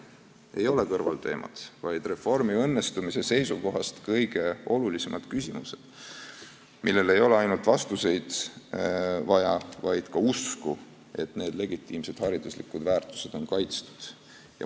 Need ei ole kõrvalteemad, vaid reformi õnnestumise seisukohast kõige olulisemad küsimused, millele ei ole vaja ainult vastuseid, vaid ka usku, et need legitiimsed hariduslikud väärtused on kaitstud.